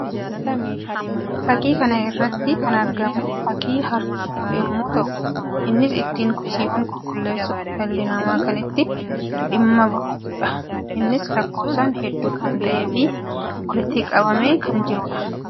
Fakkii kana irratti kan argamu fakkii hartuu yammuu ta'u; innis ittiin kosiiwwan qulqulleessuuf dhalli namaa kan itti dhimma bahuu dha. Innis lakkoofsaan hedduu kan ta'ee fi walitti qabamee kan jiruu dha.